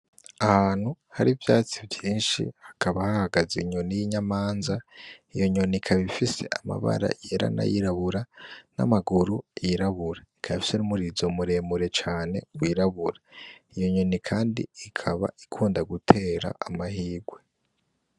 Ahantu hari ivyatsi vyinshi hakaba hahagaze inyoni y' inyamanza iyo nyoni ikaba ifise amabara yera nayirabura n' amaguru yirabura ikaba ifise n' umurizo mure mure cane wirabura, iyo nyoni kandi ikaba ikunda gutera amahigwe.